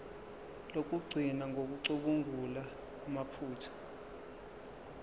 lokugcina ngokucubungula amaphutha